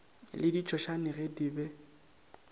le ditšhošane ge di le